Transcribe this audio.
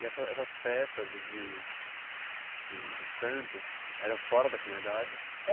E essa essas festas de de de santo eram fora da comunidade?